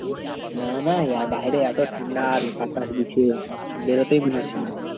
না না বাহিরে এতো ঠাণ্ডা বাতাস দিচ্ছে বেরোতেই মনাচ্ছে না